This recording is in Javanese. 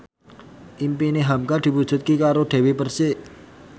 impine hamka diwujudke karo Dewi Persik